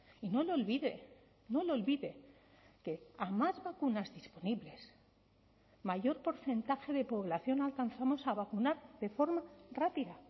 y no lo olvide no lo olvide que a más vacunas disponibles mayor porcentaje de población alcanzamos a vacunar de forma rápida